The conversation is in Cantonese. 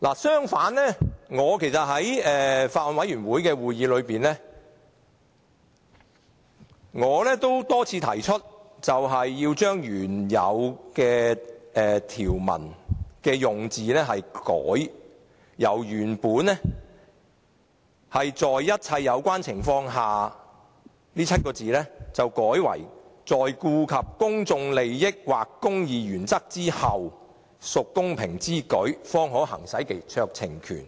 相反，在法案委員會的會議上，我多次提出修訂原條文的用字，由原本"在顧及一切有關情況下"改為"在顧及公眾利益或公義原則之後"，屬公平之舉，方可行使該酌情權。